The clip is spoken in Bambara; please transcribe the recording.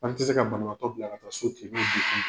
An tɛ se ka banabagatɔ bila ka taa so ten n'o degun ye.